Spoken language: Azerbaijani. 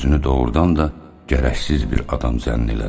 Özünü doğrudan da gərəksiz bir adam zənn elədi.